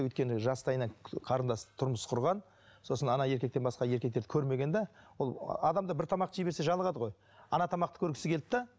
өйткені жастайынан қарындас тұрмыс құрған сосын еркектен басқа еркектерді көрмеген де ол адам да бір тамақ жей берсе жалығады ғой тамақты көргісі келді де